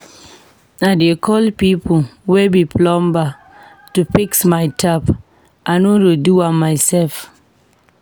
I dey call pipo wey be plumber to fix my tap, I no dey do am mysef.